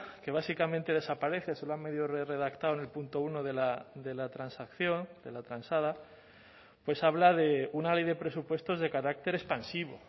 que básicamente desaparece se lo han medio redactado en el punto uno de la transacción de la transada pues habla de una ley de presupuestos de carácter expansivo